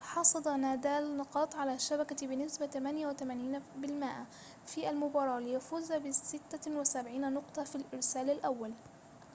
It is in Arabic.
حصد نادال نقاط على الشبكة بنسبة 88% في المباراة ليفوز ب76 نقطة في الإرسال الأول